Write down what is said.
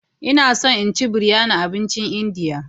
Ina so in ci biryani abincin Indiya.